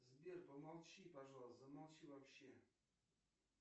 сбер помолчи пожалуйста замолчи вообще